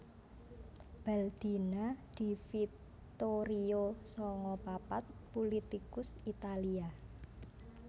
Baldina Di Vittorio sanga papat pulitikus Italia